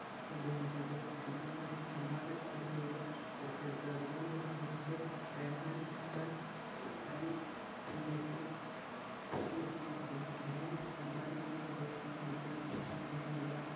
കൊണ്ട് വന്നിട്ടുണ്ട് അത് പിന്നെ അദ്ദേഹം ഒരുപാട് കളി മികവുകൾ പുറത്തെടുത്തു അതുകൊണ്ട് തന്നെ അദ്ദേഹത്തെ real മാഡ്രിഡ് എന്ന പാരിസ് team ലേക്ക് വിളിച്ചു അദ്ദേഹം അവിടെയും ഒരുപാട് തൻറെ മികവുകൾ കാണിച്ചു അതിലൂടെ അദ്ദേഹം ഒരുപാട്